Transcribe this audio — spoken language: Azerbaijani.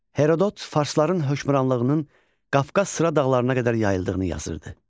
Herodot farsların hökmranlığının Qafqaz sıra dağlarına qədər yayıldığını yazırdı.